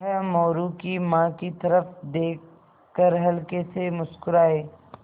वह मोरू की माँ की तरफ़ देख कर हल्के से मुस्कराये